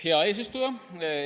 Hea eesistuja!